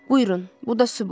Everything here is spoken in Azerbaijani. Buyurun, bu da sübut.